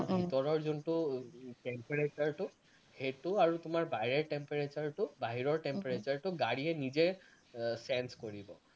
ভিতৰৰ যোনটো temperature টো সেইটো আৰু তোমাৰ বাহিৰৰ temperature টো বাহিৰৰ temperature টো গাড়ীয়ে নিজে আহ change কৰি লয়